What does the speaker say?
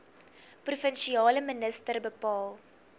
provinsiale minister bepaal